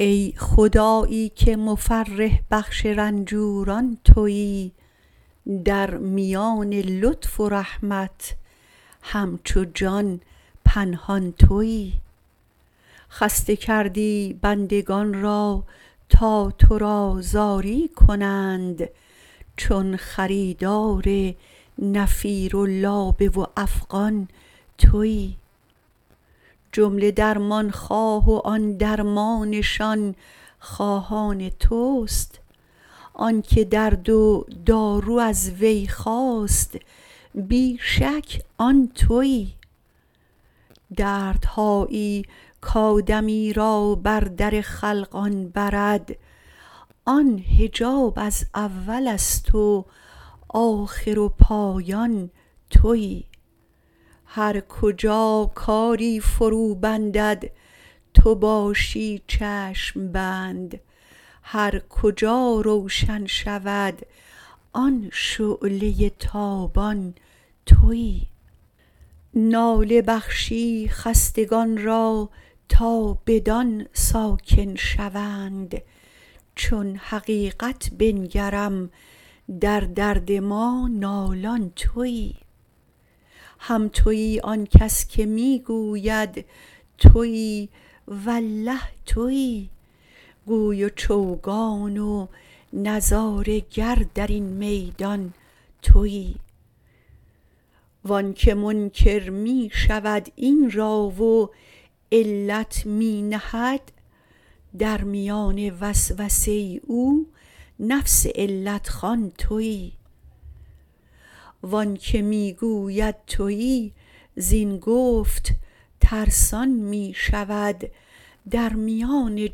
ای خدایی که مفرح بخش رنجوران توی در میان لطف و رحمت همچو جان پنهان توی خسته کردی بندگان را تا تو را زاری کنند چون خریدار نفیر و لابه و افغان توی جمله درمان خواه و آن درمانشان خواهان توست آنک درد و دارو از وی خاست بی شک آن توی دردهایی کآدمی را بر در خلقان برد آن حجاب از اول است و آخر و پایان توی هر کجا کاری فروبندد تو باشی چشم بند هر کجا روشن شود آن شعله تابان توی ناله بخشی خستگان را تا بدان ساکن شوند چون حقیقت بنگرم در درد ما نالان توی هم توی آن کس که می گوید توی والله توی گوی و چوگان و نظاره گر در این میدان توی و آنک منکر می شود این را و علت می نهد در میان وسوسه او نفس علت خوان توی و آنک می گوید توی زین گفت ترسان می شود در میان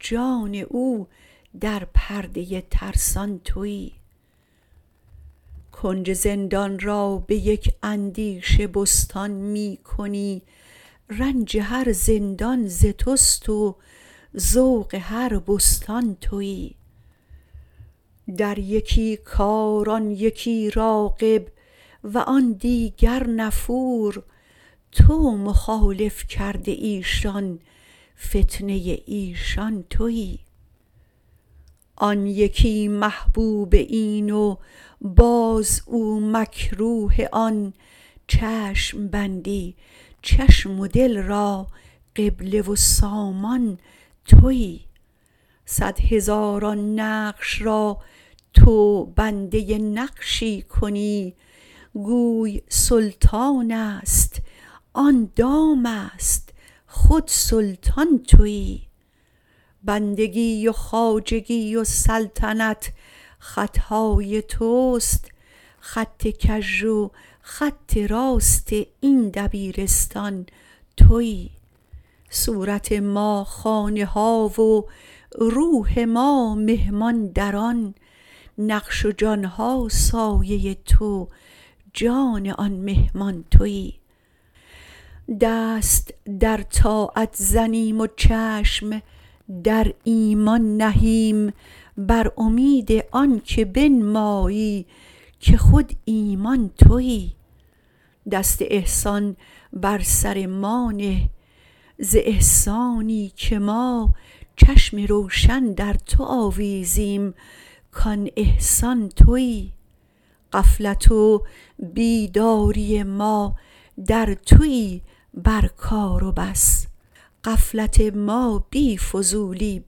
جان او در پرده ترسان توی کنج زندان را به یک اندیشه بستان می کنی رنج هر زندان ز توست و ذوق هر بستان توی در یکی کار آن یکی راغب و آن دیگر نفور تو مخالف کرده ای شان فتنه ایشان توی آن یکی محبوب این و باز او مکروه آن چشم بندی چشم و دل را قبله و سامان توی صد هزاران نقش را تو بنده نقشی کنی گویی سلطان است آن دام است خود سلطان توی بندگی و خواجگی و سلطنت خط های توست خط کژ و خط راست این دبیرستان توی صورت ما خانه ها و روح ما مهمان در آن نقش و جان ها سایه تو جان آن مهمان توی دست در طاعت زنیم و چشم در ایمان نهیم بر امید آنک بنمایی که خود ایمان توی دست احسان بر سر ما نه ز احسانی که ما چشم روشن در تو آویزیم کان احسان توی غفلت و بیداری ما در توی بر کار و بس غفلت ما بی فضولی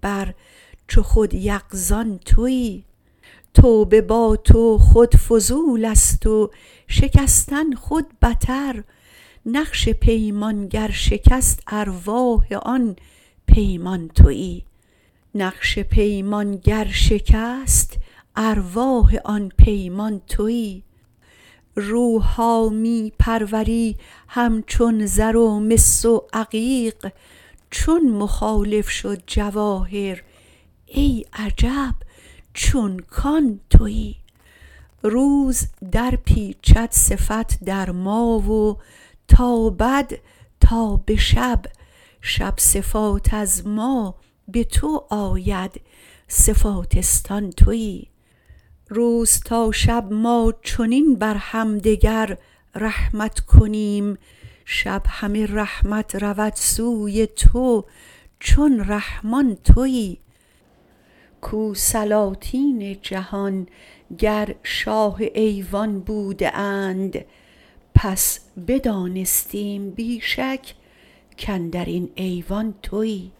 بر چو خود یقظان توی توبه با تو خود فضول است و شکستن خود بتر نقش پیمان گر شکست ارواح آن پیمان توی روح ها می پروری همچون زر و مس و عقیق چون مخالف شد جواهر ای عجب چون کان توی روز درپیچد صفت در ما و تابد تا به شب شب صفات از ما به تو آید صفاتستان توی روز تا شب ما چنین بر همدگر رحمت کنیم شب همه رحمت رود سوی تو چون رحمان توی کو سلاطین جهان گر شاه ایوان بوده اند پس بدانستیم بی شک کاندر این ایوان توی